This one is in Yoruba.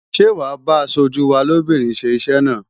Ṣé wàá bá aṣojú wa lóbìnrin ṣe iṣẹ́ náà?